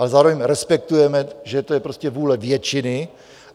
Ale zároveň respektujeme, že to je vůle většiny.